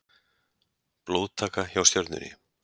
Blóðtaka hjá Stjörnunni